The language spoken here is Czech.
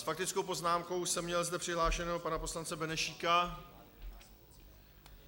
S faktickou poznámkou jsem měl zde přihlášeného pana poslance Benešíka.